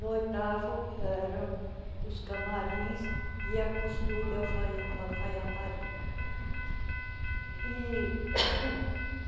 No oitavo eram os camarins e a costura e alfa alfaiataria.